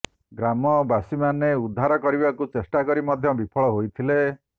ଗ୍ରାମବାସୀମାନେ ଉଦ୍ଧାର କରିବାକୁ ଚେଷ୍ଟା କରି ମଧ୍ୟ ବିଫଳ ହୋଇଥିଲେ